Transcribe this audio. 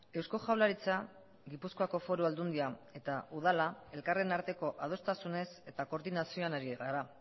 eusko jaurlaritza gipuzkoako foru aldundia eta udala elkarren arteko adostasunez eta koordinazioan hari gara